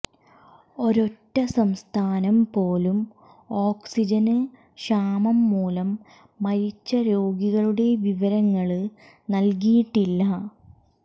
ഒരൊറ്റ സംസ്ഥാനം പോലും ഓക്സിജന് ക്ഷാമം മൂലം മരിച്ച രോഗികളുടെ വിവരങ്ങള് നല്കിയിട്ടില്ല